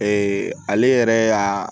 ale yɛrɛ y'a